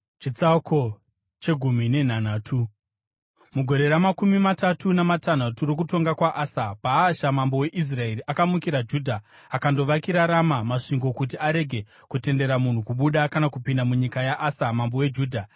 Mugore ramakumi matatu namatanhatu rokutonga kwaAsa, Bhaasha mambo weIsraeri akamukira Judha akandovakira Rama masvingo kuti arege kutendera munhu kubuda kana kupinda munyika yaAsa mambo weJudha.